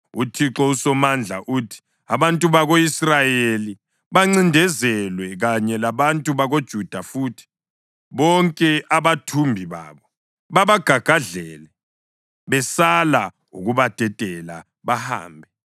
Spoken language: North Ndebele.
UThixo uSomandla uthi: “Abantu bako-Israyeli bancindezelwe, kanye labantu bakoJuda futhi. Bonke abathumbi babo babagagadlele, besala ukubadedela bahambe.